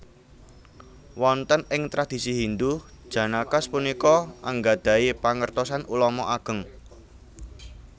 Wonten ing tradisi Hindu Janakas punika anggadhahi pangertosan ulama ageng